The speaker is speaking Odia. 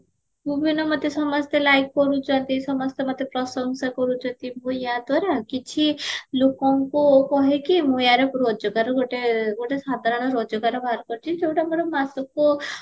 ମୁଁ ବି ଏଇନା ମତେ ସମସ୍ତେ like କରୁଚନ୍ତି ସମସ୍ତେ ମତେ ପ୍ରଶଂସା କରୁଚନ୍ତି ମୁଁ ୟା ଦ୍ଵାରା କିଛି ଲୋକଙ୍କୁ କହିକି ମୁଁ ୟାର ରୋଜଗାର ଗୋଟେ ଗୋଟେ ସାଧାରଣ ରୋଜଗାର ବାହାର କରିଚି ଯଉଟା ମୋର ମାସକୁ